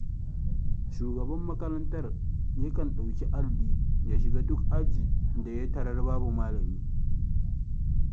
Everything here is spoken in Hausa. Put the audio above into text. Shugaban makarantar ya kan ɗauki alli ya shiga duk ajin da ya tarar babu malami.